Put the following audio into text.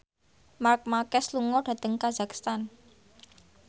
Marc Marquez lunga dhateng kazakhstan